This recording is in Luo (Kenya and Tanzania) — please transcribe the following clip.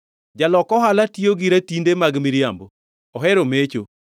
Jalok ohala tiyo gi ratinde mag miriambo; ohero mecho.